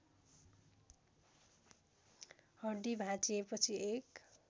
हड्डी भाँचिएपछि एक